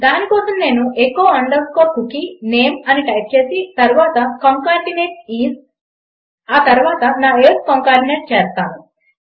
దాని కోసం నేను ఎఖో అండర్స్కోర్ కుకీ నేమ్ అని టైప్ చేసి తర్వాత కన్సాటినేట్ ఐఎస్ ఆ తర్వాత నా ఏజ్ కన్సాటినేట్ చేస్తాను